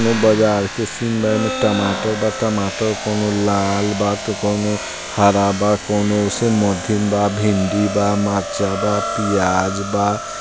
कोनो बाजार के सीन बा एमे टमाटर बा टमाटर कोनो लाल बा त कोनो हरा बा कोनो ओसे मधिम बा भिंडी बा मरीचा बा प्याज बा।